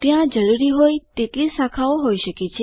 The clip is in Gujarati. ત્યાં જરૂરી હોય તેટલી શાખાઓ હોય શકે છે